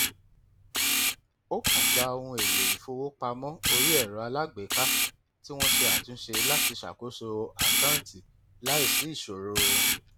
ó kàn gba ohun èlò ìfowópamọ orí ẹrọ alágbèéká tí wọn ṣe àtúnṣe láti ṣakoso àkáǹtì láìsí ìṣòro